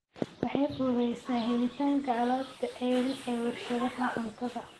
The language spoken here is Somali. Waxay fududaysaa helitaanka alaabta ceeriin ee warshadaha cuntada.